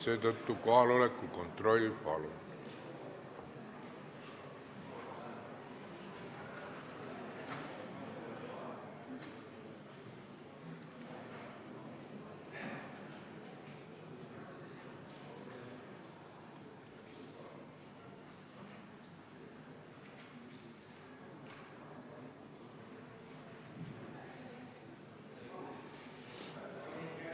Seetõttu kohaloleku kontroll, palun!